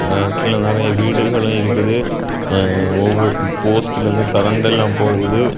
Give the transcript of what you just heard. கீழே நெறைய வீடுகளு இருக்குது. அ போஸ்டில் இருந்து கரண்ட் எல்லா போகுது.